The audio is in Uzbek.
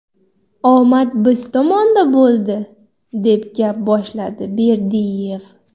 Omad biz tomonda bo‘ldi”, deb gap boshladi Berdiyev.